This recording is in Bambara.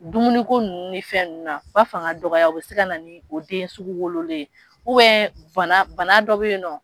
Dumuniko ninnu fɛn ninnu na b'a fanga dɔgɔya o bɛ se ka na ni o den sugu wololi ye bana dɔ bɛ yen nɔ